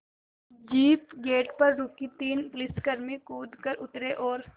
jeep gate पर रुकी तीन पुलिसकर्मी कूद कर उतरे और